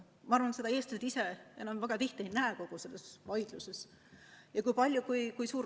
Ma arvan, et seda eestlased ise kogu selles vaidluses enam väga ei näe.